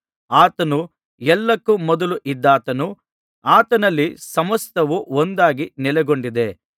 ಆತನು ಎಲ್ಲಕ್ಕೂ ಮೊದಲು ಇದ್ದಾತನು ಆತನಲ್ಲಿ ಸಮಸ್ತವು ಒಂದಾಗಿ ನೆಲೆಗೊಂಡಿದ್ದೆ